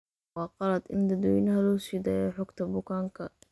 Waa khalad in dadweynaha loo siidaayo xogta bukaanka.